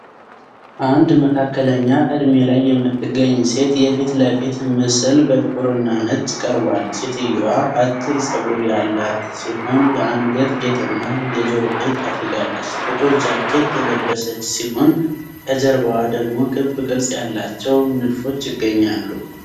አንድ መካከለኛ እድሜ ላይ የምትገኝ ሴት የፊት ለፊት ምስል በጥቁርና ነጭ ቀርቧል። ሴትየዋ አጭር ፀጉር ያላት ሲሆን የአንገት ጌጥና የጆሮ ጌጥ አድርጋለች። ጥቁር ጃኬት የለበሰች ሲሆን ከጀርባዋ ደግሞ ክብ ቅርጽ ያላቸው ንድፎች ይገኛሉ።